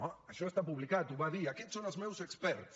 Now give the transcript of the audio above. oh això està publicat ho va dir aquests són els meus experts